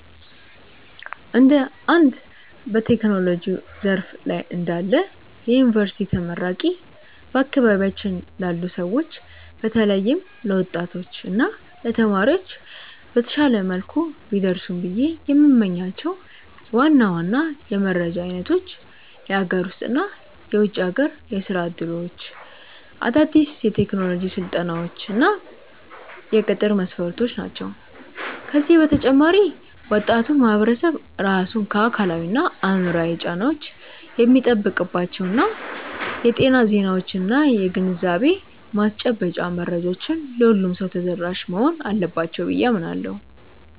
እንደ አንድ በቴክኖሎጂው ዘርፍ ላይ እንዳለ የዩኒቨርሲቲ ተመራቂ፣ በአካባቢያችን ላሉ ሰዎች በተለይም ለወጣቶች እና ለተማሪዎች በተሻለ መልኩ ቢደርሱ ብዬ የምመኛቸው ዋና ዋና የመረጃ አይነቶች የሀገር ውስጥ እና የውጭ ሀገር የሥራ ዕድሎች፣ አዳዲስ የቴክኖሎጂ ስልጠናዎች እና የቅጥር መስፈርቶች ናቸው። ከዚህ በተጨማሪ ወጣቱ ማህበረሰብ ራሱን ከአካላዊና አእምሯዊ ጫናዎች የሚጠብቅባቸው የጤና ዜናዎችና የግንዛቤ ማስጨበጫ መረጃዎች ለሁሉም ሰው ተደራሽ መሆን አለባቸው ብዬ አምናለሁ።